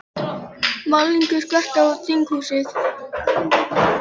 Málningu skvett á þinghúsið